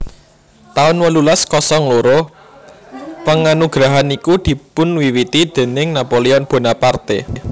taun wolulas kosong loro Penganugerahan niku dipunwiwiti déning Napoleon Bonaparte